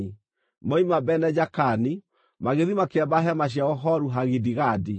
Moima Bene-Jaakani, magĩthiĩ makĩamba hema ciao Horu-Hagidigadi.